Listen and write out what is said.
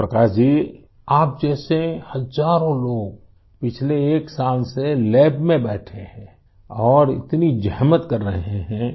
پرکاش جی، آپ جیسے ہزاروں لوگ پچھلے ایک سال سے لیب میں بیٹھے ہیں اور اتنی زحمت کر رہے ہیں